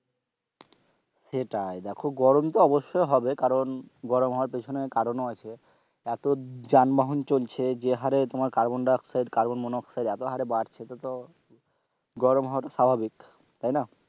সেটাই দেখো গরম তো অবশ্যই হবে কারণ গরম হওয়ার পিছনে কারণও আছে এত যান বাহন চলছে যে হারে যানবাহন তোমার carbon dioxide, carbon monoxide এতো হারে বাড়ছে এতে তো গরম হওয়াটা স্বাভাবিক তাই না,